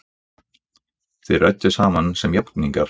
Þið rædduð saman sem jafningjar!